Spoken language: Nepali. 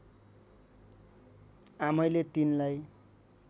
आमैले तिनलाई